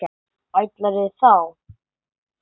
Ætlarðu þá?